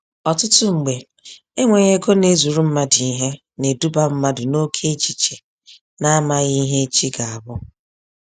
Ọtụtụ mgbe, enweghi ego na-ezuru mmadụ ihe, na-eduba mmadụ n'oke echiche na amaghị ihe echi ga-abụ.